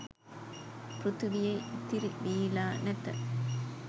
පෘථීවියේ ඉතිරිවීලා නැත